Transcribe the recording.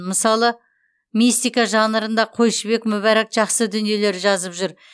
мысалы мистика жанрында қойшыбек мүбәрак жақсы дүниелер жазып жүр